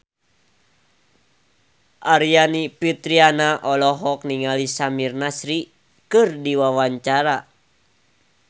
Aryani Fitriana olohok ningali Samir Nasri keur diwawancara